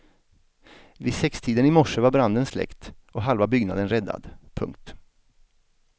Vid sextiden i morse var branden släckt och halva byggnaden räddad. punkt